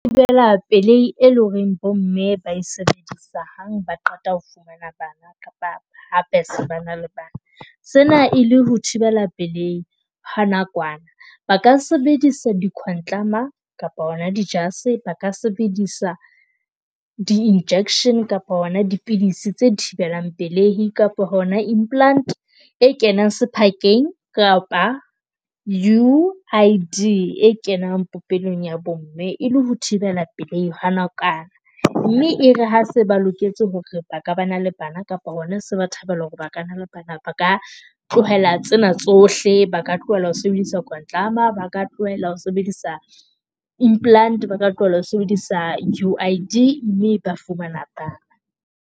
Thibela pelei e leng hore bo mme ba e sebedisa hang ba qeta ho fumana bana kapa ha ba se ba ena le bana sena e le ho thibela pelei ha nakwana. Ba ka sebedisa di khwantlama kapa hona di jase. Ba ka sebedisa di-injection kapa hona dipidisi tse thibelang pelei kapa hona implant e kenang sephakeng kapa, U_I_D e kenang popelong ya bo mme. E le ho thibela pelei ha nakwana mme e re ha se ba loketse hore ba ka ba na le bana kapa hona se ba thabela hore ba ka na le bana ba ka tlohela tsena tsohle. Ba ka tlohella ho sebedisa kwantlama. Ba ka tlohella ho sebedisa implant, ba ka tlohella ho sebedisa U_I_D, mme ba fumana ba.